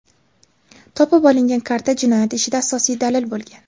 Topib olingan karta jinoyat ishida asosiy dalil bo‘lgan.